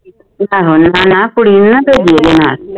ਆਹੋ ਨਾ ਨਾ ਕੁੜੀ ਨੂੰ ਨਾ ਭੇਜੀ ਇਹਦੇ ਨਾਲ